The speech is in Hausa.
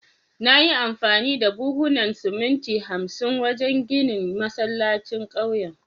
Na yi amfani da buhunan siminti hamsin wajen ginin masallacin kauyen